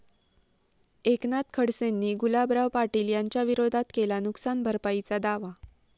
एकनाथ खडसेंनी गुलाबराव पाटील यांच्याविरोधात केला नुकसान भरपाईचा दावा